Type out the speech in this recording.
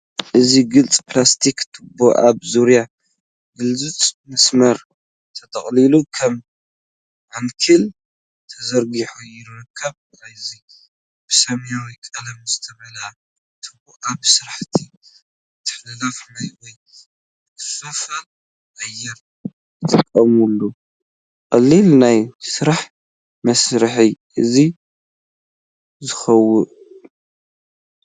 እዚ ግሉጽ ፕላስቲክ ቱቦ ኣብ ዙርያ ግሉጽ መስመር ተጠቕሊሉ ከም ዓንኬል ተዘርጊሑ ይርከብ። እዚ ብሰማያዊ ቀለም ዝተመልአ ቱቦ፡ ኣብ ስራሕቲ ምትሕልላፍ ማይ ወይ ምክፍፋል ኣየር ይጥቀመሉ። ቀሊል ናይ ስራሕ መሳርሒ እዩ ዝውክል።